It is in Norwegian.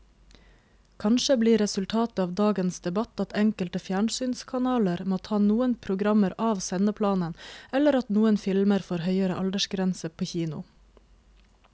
Kanskje blir resultatet av dagens debatt at enkelte fjernsynskanaler må ta noen programmer av sendeplanen eller at noen filmer får høyere aldersgrense på kino.